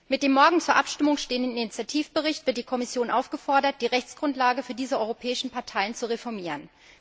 Mit dem morgen zur Abstimmung stehenden Initiativbericht wird die Kommission aufgefordert, die Rechtsgrundlage für diese europäischen Parteien zu reformieren.